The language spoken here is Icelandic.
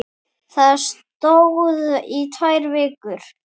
Það stóð í tvær vikur.